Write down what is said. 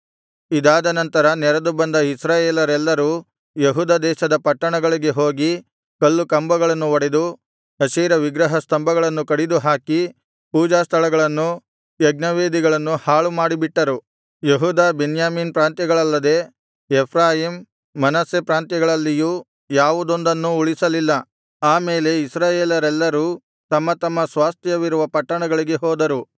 ಇದಾದನಂತರ ನೆರೆದುಬಂದ ಇಸ್ರಾಯೇಲರೆಲ್ಲರೂ ಯೆಹೂದ ದೇಶದ ಪಟ್ಟಣಗಳಿಗೆ ಹೋಗಿ ಕಲ್ಲು ಕಂಬಗಳನ್ನು ಒಡೆದು ಅಶೇರ ವಿಗ್ರಹ ಸ್ತಂಭಗಳನ್ನು ಕಡಿದುಹಾಕಿ ಪೂಜಾಸ್ಥಳಗಳನ್ನೂ ಯಜ್ಞವೇದಿಗಳನ್ನೂ ಹಾಳುಮಾಡಿಬಿಟ್ಟರು ಯೆಹೂದ ಬೆನ್ಯಾಮೀನ್ ಪ್ರಾಂತ್ಯಗಳಲ್ಲದೆ ಎಫ್ರಾಯೀಮ್ ಮನಸ್ಸೆ ಪ್ರಾಂತ್ಯಗಳಲ್ಲಿಯೂ ಯಾವುದೊಂದನ್ನೂ ಉಳಿಸಲಿಲ್ಲ ಆ ಮೇಲೆ ಇಸ್ರಾಯೇಲರೆಲ್ಲರೂ ತಮ್ಮ ತಮ್ಮ ಸ್ವಾಸ್ತ್ಯವಿರುವ ಪಟ್ಟಣಗಳಿಗೆ ಹೋದರು